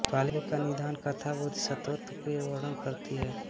पाली की निदान कथा बोधिसत्वों का वर्णन करती है